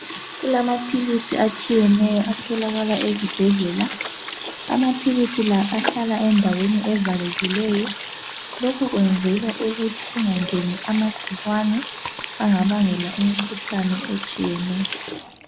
Kulamaphilisi atshiyeneyo atholakala ezibhedlela. Amaphilisi la ahlala endaweni evalekileyo. Lokhu kwenzelwa ukuthi kungangeni ama gcikwane anga bangela imkhuhlane etshiyeneyo